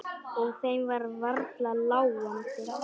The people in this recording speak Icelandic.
Og þeim var varla láandi.